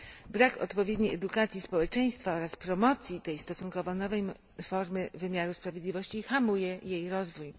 Brak odpowiedniej edukacji społeczeństwa oraz promocji tej stosunkowo nowej formy wymiaru sprawiedliwości hamuje jej rozwój.